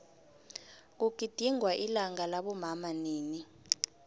kugidingwa ilanga labomama nini